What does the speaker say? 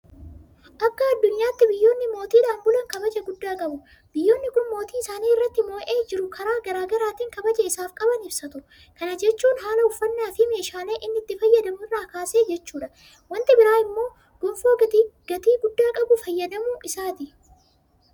Akka addunyaatti biyyoonni mootiidhaan bulan kabaja guddaa qabu. Biyyoonni kun mootii isaan irratti mo'ee jiru karaa garaa garaatiin kabaja isaaf qaban ibsatu. Kana jechuun haala uffannaafi meeshaalee inni itti fayyadamu irraa kaasee jechuudha. Wanti biraa immoo Gonfoo gatii guddaa qabu fayyadamuu isaati.